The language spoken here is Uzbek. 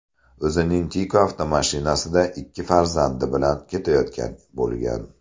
o‘zing Tiko avtomashinasida ikki farzandi bilan ketayotgan bo‘lgan.